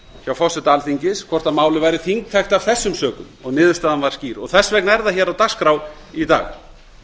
hjá forseta alþingis hvort málið væri þingtækt af þessum sökum og niðurstaðan var skýr þess vegna er það á dagskrá í dag